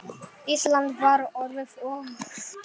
Ísland var orðið of dýrt.